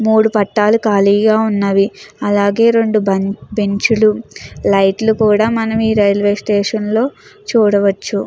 మూడు పట్టాలు ఖాళీగా ఉన్నవి అలాగే రెండు బెంచులు లైట్లు కూడా మనం ఈ రైల్వే స్టేషన్లో చూడవచ్చు.